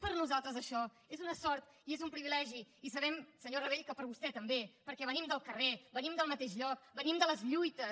per nosaltres això és una sort i és un privilegi i sabem senyor rabell que per vostè també perquè venim del carrer venim del mateix lloc venim de les lluites